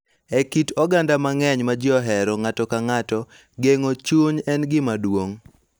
E kit oganda mang�eny ma ji ohero ng�ato ka ng�ato, geng�o chuny en gima duong�,